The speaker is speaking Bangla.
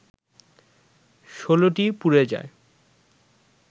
১৬টি পুড়ে যায়